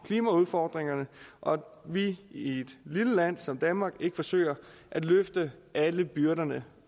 klimaudfordringerne og at vi i et lille land som danmark ikke forsøger at løfte alle byrderne